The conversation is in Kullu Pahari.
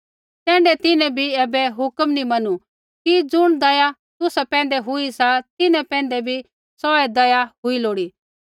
तैण्ढै तिन्हैं भी ऐबै हुक्म नी मनू कि ज़ुण दया तुसा पैंधै हुई सा तिन्हां पैंधै भी सोऐ दया हुई लोड़ी